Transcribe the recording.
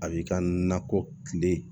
A b'i ka nakɔ kile